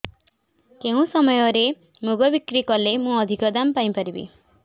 କେଉଁ ସମୟରେ ମୁଗ ବିକ୍ରି କଲେ ମୁଁ ଅଧିକ ଦାମ୍ ପାଇ ପାରିବି